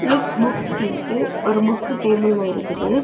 Look book சொல்லிட்டு ஒரு book டேபிளெ இருக்குது.